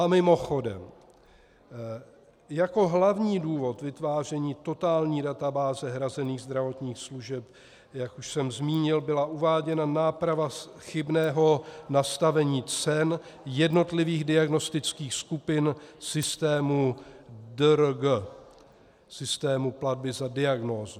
A mimochodem, jako hlavní důvod vytváření totální databáze hrazených zdravotních služeb, jak už jsem zmínil, byla uváděna náprava chybného nastavení cen jednotlivých diagnostických skupin systému DRG, systému platby za diagnózu.